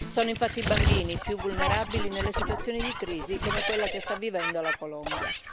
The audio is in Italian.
Sono infatti i bambini i più vulnerabili nelle situazioni di crisi come quella che sta vivendo la Colombia.